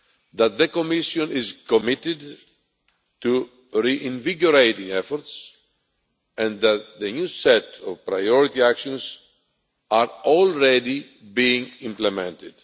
that the Commission is committed to reinvigorating efforts and that the new set of priority actions is already being implemented.